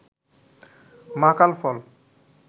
মাকাল ফল